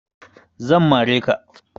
Zan mare ka